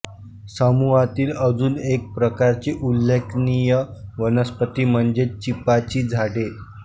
समूहातील अजून एक प्रकारची उल्लेखनीय वनस्पती म्हणजे चिपाची झाडे